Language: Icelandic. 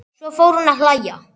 Svo fór hún að hlæja.